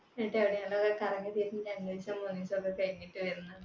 എന്നിട്ട് കറങ്ങിത്തിരിഞ്ഞ് കഴിഞ്ഞിട്ട് വരുന്ന്